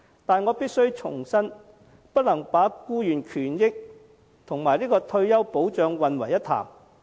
但我必須重申，僱員權益和退休保障不能混為一談。